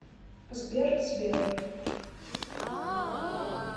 сбер сбер